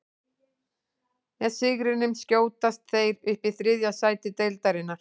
Með sigrinum skjótast þeir upp í þriðja sæti deildarinnar.